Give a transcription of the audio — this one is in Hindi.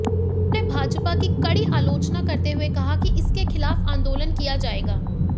उन्होंने भाजपा की कड़ी आलोचना करते हुए कहा कि इसके खिलाफ आंदोलन किया जाएगा